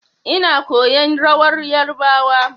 Ina koyan rawar yarbawa.